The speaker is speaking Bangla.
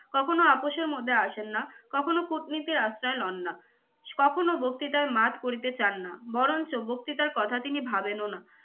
কখনও আপোষের মধ্যে আসেন না, কখনও কূটনীতির আশ্রয় লন না, কখনও বক্তৃতায় মাত করিতে চান না বরঞ্চ বক্তৃতার কথা তিনি ভাবেনও না।